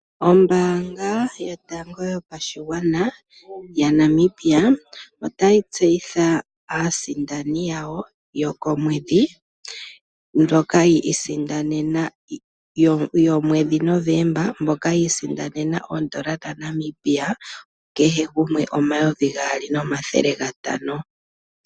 Ombaanga yotango yopashigwana yaNamibia, otayi tseyitha aasindani yawo yokomwedhi, yomwedhi Novemba, mboka yi isindanena oondola dhaNamibia kehe gumwe omayovi gaali nomathele gatano.